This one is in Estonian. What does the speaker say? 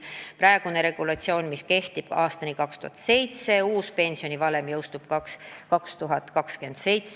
Praegune regulatsioon kehtib aastani 2027, uus pensionivalem jõustub pärast aastat 2027.